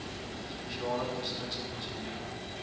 spesiale konstruksie prosedure